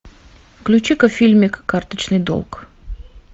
включи ка фильмик карточный долг